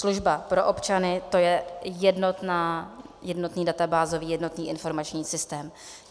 Služba pro občany, to je jednotný databázový, jednotný informační systém.